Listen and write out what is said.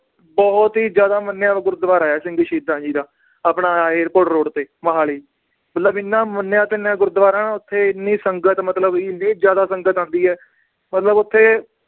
ਬਹੁਤ ਹੀ ਜ਼ਿਆਦਾ ਮੰਨਿਆ ਉਹ ਗੁਰਦਵਾਰਾ ਏ ਸਿੰਘ ਸ਼ਹੀਦਾਂ ਜੀ ਦਾ ਆਪਣਾ ਆਹ airport road ਤੇ, ਮੋਹਾਲੀ ਮਤਲਬ ਇੰਨਾ ਮੰਨਿਆ ਤਨਿਆ ਗੁਰਦਵਾਰਾ ਨਾ ਉੱਥੇ ਇੰਨੀ ਸੰਗਤ ਮਤਲਬ ਇੰਨੀ ਜ਼ਿਆਦਾ ਸੰਗਤ ਆਂਦੀ ਏ ਮਤਲਬ ਓਥੇ